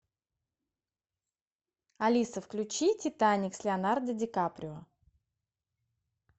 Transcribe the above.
алиса включи титаник с леонардо ди каприо